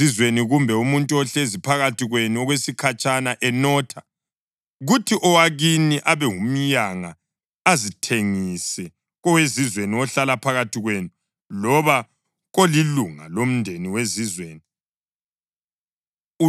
Nxa owezizweni, kumbe umuntu ohlezi phakathi kwenu okwesikhatshana enotha, kuthi owakini abe ngumyanga azithengise kowezizweni ohlala phakathi kwenu loba kolilunga lomndeni wezizweni,